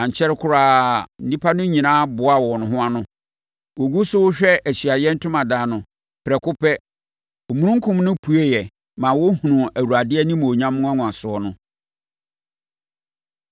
Ankyɛre koraa, nnipa no nyinaa boaa wɔn ho ano. Wɔgu so rehwɛ Ahyiaeɛ Ntomadan no, prɛko pɛ, omununkum no pueeɛ ma wɔhunuu Awurade animuonyam nwanwaso no.